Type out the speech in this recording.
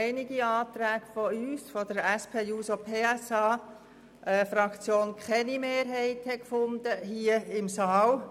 Einige Anträge von uns fanden keine Mehrheiten im Saal.